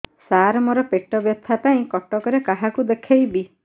ସାର ମୋ ର ପେଟ ବ୍ୟଥା ପାଇଁ କଟକରେ କାହାକୁ ଦେଖେଇବି